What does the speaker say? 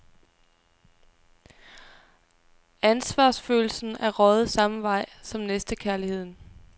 Ansvarsfølelsen er røget samme vej som næstekærligheden.